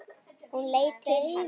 Hún leit til hans.